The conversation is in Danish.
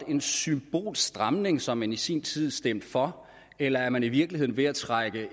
en symbolsk stramning som man i sin tid stemte for eller er man i virkeligheden ved at trække